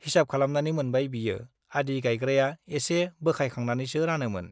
हिसाब खालामनानै मोनबाय बियो-आदि गाइग्राया एसे बोखायखांनानैसो रानोमोन ।